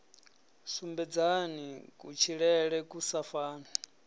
sumbedzani kutshilele ku sa fani